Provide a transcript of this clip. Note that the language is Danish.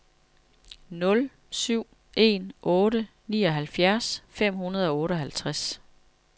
nul syv en otte nioghalvfjerds fem hundrede og otteoghalvtreds